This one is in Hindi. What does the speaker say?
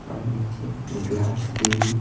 और नीचे ग्लास की भी--